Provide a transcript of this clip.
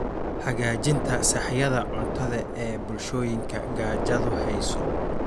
Hagaajinta sahayda cuntada ee bulshooyinka gaajadu hayso.